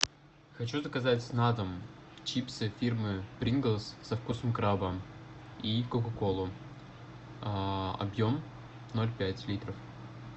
хочу заказать на дом чипсы фирмы принглс со вкусом краба и кока колу объем ноль пять литров